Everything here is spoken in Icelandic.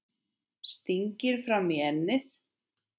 Stingir fram í ennið.